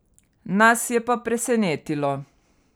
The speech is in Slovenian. Nas je pa presenetilo.